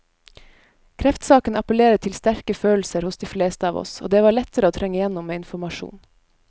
Kreftsaken appellerer til sterke følelser hos de fleste av oss, og det var lettere å trenge igjennom med informasjon.